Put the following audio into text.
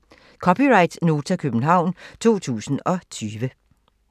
(c) Nota, København 2020